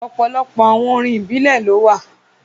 Ọ̀pọ̀lọ̀pọ̀ àwọn orín ibilẹ̀ ló wà.